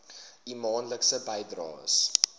u maandelikse bydraes